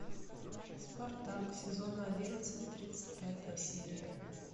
спартак сезон одиннадцать тридцать пятая серия